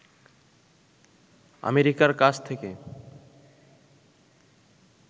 আমেরিকার কাছ থেকে